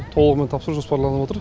толығымен тапсыру жоспарланып отыр